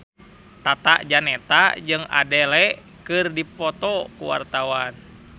Tata Janeta jeung Adele keur dipoto ku wartawan